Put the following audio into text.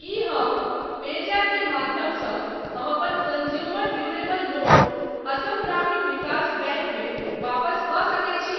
की हम पेजैप के माध्यमसँ हम अपन consumer durable loan Assam Gramin Vikas bank मे वापस कऽ सकैत छी ?